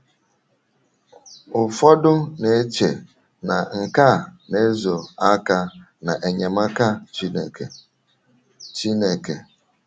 Ụfọdụ na - eche na nke a na - ezo aka n’enyemaka Chineke. Chineke.